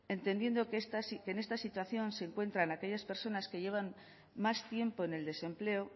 entendiendo que en esta situación se encuentran aquellas personas que llevan más tiempo en el desempleo